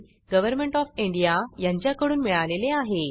government of India यांच्याकडून मिळालेले आहे